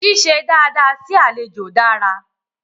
Ṣíṣe dada sí àlejò dára.